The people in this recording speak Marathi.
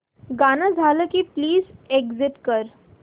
गाणं झालं की प्लीज एग्झिट कर